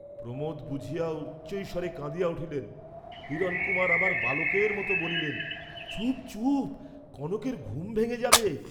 প্রমোদ বুঝিয়া উচ্চৈঃস্বরে কাঁদিয়া উঠিলেন, হিরণকুমার আবার বালকের মত বলিলেন, "চুপ চুপ, কনকের ঘুম ভেঙে যাবে।"